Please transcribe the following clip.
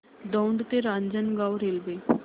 दौंड ते रांजणगाव रेल्वे